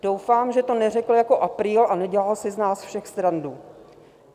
Doufám, že to neřekl jako apríl a nedělal si z nás všech srandu.